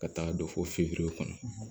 Ka taaga don fo fiyefure kɔnɔ